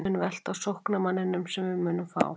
Það mun velta á sóknarmanninum sem við munum fá.